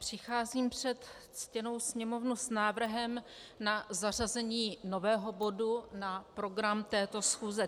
Přicházím před ctěnou Sněmovnu s návrhem na zařazení nového bodu na program této schůze.